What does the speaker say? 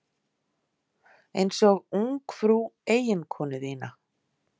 Einsog ungfrú eiginkonu þína.